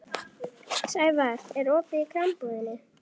Sævarr, er opið í Krambúðinni?